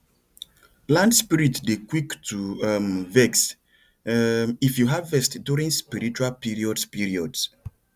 land spirit dey quick to um vex um if you harvest during spiritual periods periods